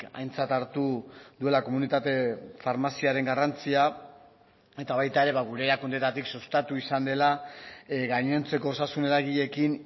aintzat hartu duela komunitate farmaziaren garrantzia eta baita ere gure erakundeetatik sustatu izan dela gainontzeko osasun eragileekin